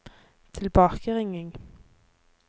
tilbakeringing